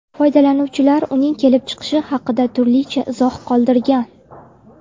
Foydalanuvchilar uning kelib chiqishi haqida turlicha izoh qoldirgan.